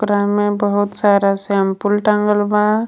उपरा में बहुत सारा शैंपूल टांगल बा.